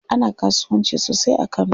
Ana kasuwanci sosai a kano.